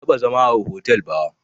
Ban taɓa zama a hotel ba